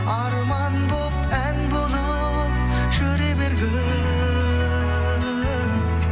арман болып ән болып жүре бергін